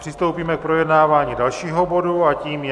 Přistoupíme k projednávání dalšího bodu a tím je